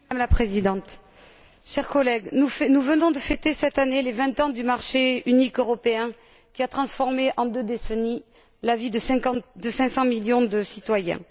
Madame la Présidente, chers collègues, nous venons de fêter cette année les vingt ans du marché unique européen, qui a transformé en deux décennies la vie de 500 millions de citoyens.